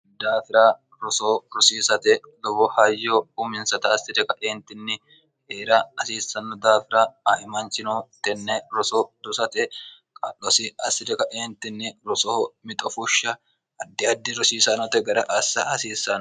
daafira roso rosiisate lowo hayyo uminsat asi'ri ka'eentinni heera hasiissanno daafira aemanchinoh tenne roso dusate qa'losi assi'ri ka'eentinni rosoho mixofushsha addi addi rosiisanote gara assa hasiissano